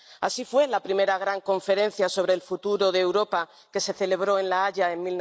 Así fue la primera gran conferencia sobre el futuro de Europa, que se celebró en La Haya en